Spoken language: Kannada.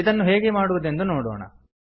ಇದನ್ನು ಹೇಗೆ ಮಾಡುವುದೆಂದು ನೋಡೋಣ